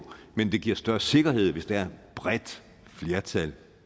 men det giver større sikkerhed hvis der er et bredt flertal